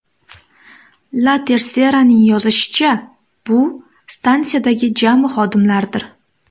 La Tercera’ning yozishicha, bu stansiyadagi jami xodimlardir.